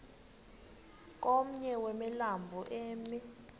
komnye wemilambo emi